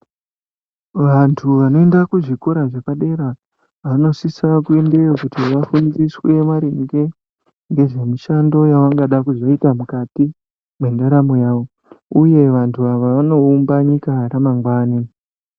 Vantu vanoenda kuzvikora zvepadera vanosisa kuendayo kuti vafundiswe maringe nemishando yavangada kuzoita mukati mwendaramo yavo uye vantu ava vanoumba nyika ramangwani.